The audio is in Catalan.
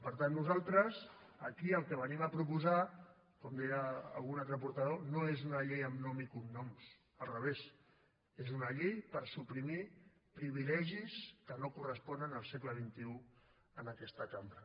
per tant nosaltres aquí el que venim a proposar com deia algun altre portaveu no és una llei amb nom i cognoms al revés és una llei per suprimir privilegis que no corresponen al segle xxi en aquesta cambra